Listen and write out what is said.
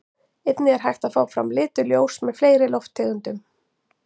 Einnig er hægt að fá fram lituð ljós með fleiri lofttegundum.